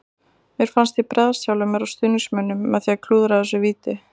Mér fannst ég bregðast sjálfum mér og stuðningsmönnunum með því að klúðra þessu víti.